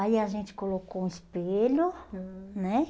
Aí a gente colocou um espelho, aham, né?